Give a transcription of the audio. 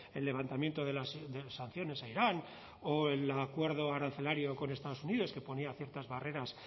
el levantamiento de las sanciones a irán o el acuerdo arancelario con estados unidos que ponía ciertas barreras